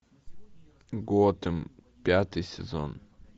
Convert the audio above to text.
готэм пятый сезон